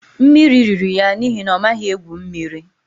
Mmiri riri ya n'ihi na ọ maghị egwu mmiri